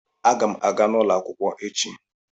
Agam aga n'ulo akwukwo echi.